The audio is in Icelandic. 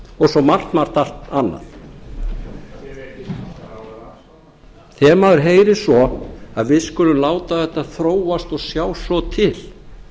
og svo margt annað þegar maður heyrir svo að við skulum láta þetta þróast og sjá svo til